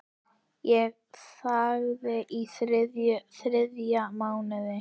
Ég þagði í þrjá mánuði.